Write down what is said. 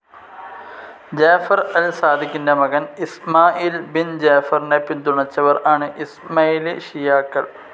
Jafar al സാദിഖിൻ്റെ മകൻ Ismail bin ജാഫറിനെ പിന്തുണച്ചവർ ആണ് ഇസ്മൈലി ഷിയാക്കൽ.